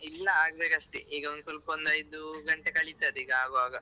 ಇಲ್ಲ ಆಗ್ಬೇಕಷ್ಟೆ ಈಗೊಂದು ಸ್ವಲ್ಪೊಂದು ಐದು ಗಂಟೆ ಕಳಿತದೆ ಈಗ ಆಗ್ವಾಗ.